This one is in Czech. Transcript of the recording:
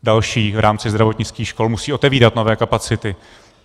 Další v rámci zdravotnických škol musí otevírat nové kapacity.